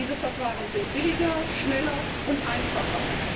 Diese Verfahren sind billiger, schneller und einfacher.